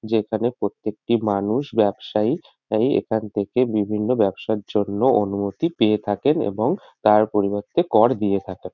যেখানে প্রত্যেকটি মানুষ ব্যবসায়ী আয়ি এখান থেকে বিভিন্ন ব্যবসার জন্য অনুমতি পেয়ে থাকেন এবং তার পরিবর্তে কর দিয়ে থাকেন।